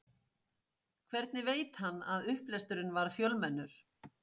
Hvernig veit hann að upplesturinn verður fjölmennur?